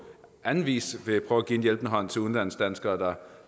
anden vis vil prøve at give en hjælpende hånd til udlandsdanskere